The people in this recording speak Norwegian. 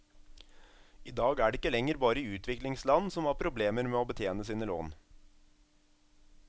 I dag er det ikke lenger bare utviklingsland som har problemer med å betjene sine lån.